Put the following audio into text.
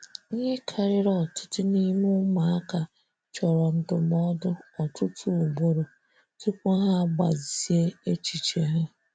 Ihe karịrị ọtụtụ n'ime ụmụaka chọrọ ndụmọdụ ọtụtụ ugboro tupu ha agbazie echiche ha.